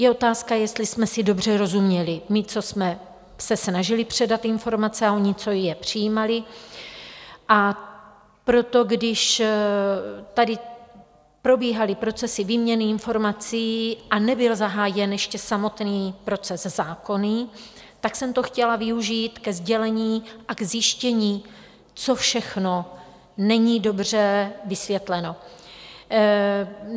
Je otázka, jestli jsme si dobře rozuměli - my, co jsme se snažili předat informace, a oni, co je přijímali - a proto, když tady probíhaly procesy výměny informací a nebyl zahájen ještě samotný proces zákonný, tak jsem to chtěla využít ke sdělení a ke zjištění, co všechno není dobře vysvětleno.